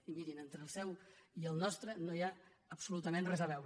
i mirin entre el seu i el nostre no hi ha absolu·tament res a veure